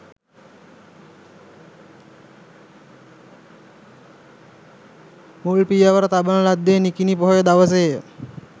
මුල් පියවර තබන ලද්දේ නිකිණි පොහොය දවසේ ය.